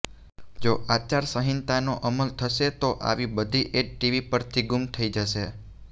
જો આચારસંહિતાનો અમલ થશે તો આવી બધી એડ્ ટીવી પરથી ગુમ થઈ જશે